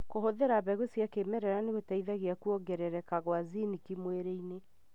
Kũhũthĩra mbegu cia mĩmera nĩhuteithagia kũongerereka kwa zinki mwĩrĩini.